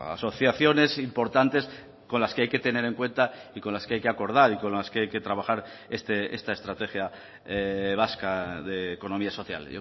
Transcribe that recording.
asociaciones importantes con las que hay que tener en cuenta y con las que hay que acordar y con las que hay que trabajar esta estrategia vasca de economía social